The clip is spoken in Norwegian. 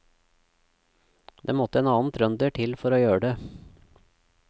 Det måtte en annen trønder til for å gjøre det.